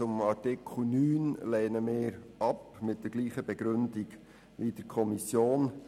Buchstabe f lehnen wir ab, und zwar mit derselben Begründung wie in der Kommission.